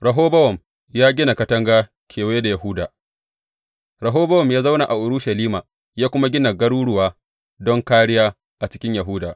Rehobowam ya gina katanga kewaye da Yahuda Rehobowam ya zauna a Urushalima ya kuma gina garuruwa don kāriya a cikin Yahuda.